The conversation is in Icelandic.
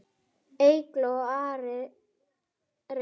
Eygló og Ari Reynir.